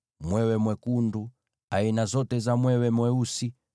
mwewe mwekundu, aina zote za mwewe mweusi,